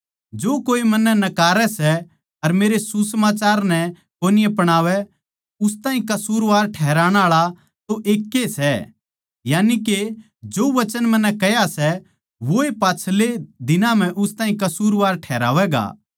जो कोए मन्नै नकारै सै अर मेरे सुसमाचार नै कोनी अपणावै उस ताहीं कसूरवार ठहराण आळा तो एकै ए सै यानिके जो वचन मन्नै कह्या सै वोए पाच्छलै दिन म्ह उस ताहीं कसूरवार ठैहरावैगा